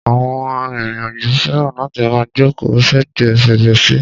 Àwọn arìnrìn-àjò fẹràn láti máa jókòó sẹ́gbẹ̀ẹ́ fèrèsé.